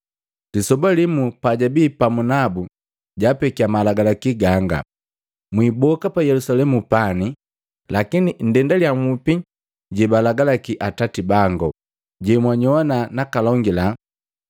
Lisoba limu pajabi pamu nabu jaapekiya malagalaki ganga: “Mwiboka pa Yelusalemu pani, lakini nndendaliya nhupi jebalagalaki Atati bangu, jemwajowana nakalongaliya.”